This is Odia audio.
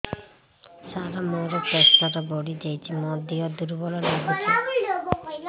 ସାର ମୋର ପ୍ରେସର ବଢ଼ିଯାଇଛି ମୋ ଦିହ ଦୁର୍ବଳ ଲାଗୁଚି